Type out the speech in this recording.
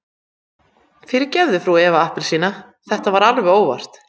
Fyrirgefðu frú Eva appelsína, þetta var alveg óvart.